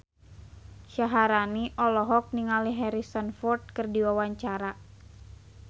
Syaharani olohok ningali Harrison Ford keur diwawancara